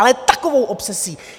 Ale takovou obsesí!